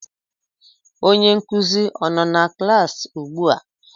Onye nkuzi a-nọ na klaasị ugbua?